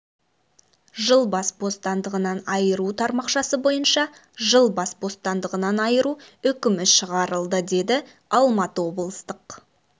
жыл бас бостандығынан айыру тармақшасы бойынша жыл бас бостандығынан айыру үкімі шығарылды деді алматы облыстық